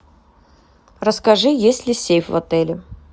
расскажи есть ли сейф в отеле